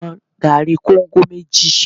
Wọn gari kóńgò méjì!